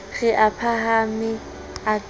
re a phahame a ke